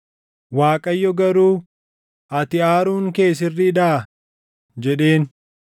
Waaqayyo garuu, “Ati aaruun kee sirriidhaa?” jedheen.